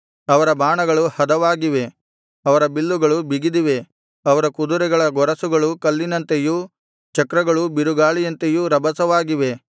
ಅವರ ಬಾಣಗಳು ಹದವಾಗಿವೆ ಅವರ ಬಿಲ್ಲುಗಳು ಬಿಗಿದಿವೆ ಅವರ ಕುದುರೆಗಳ ಗೊರಸುಗಳು ಕಲ್ಲಿನಂತೆಯೂ ಚಕ್ರಗಳು ಬಿರುಗಾಳಿಯಂತೆಯೂ ರಭಸವಾಗಿವೆ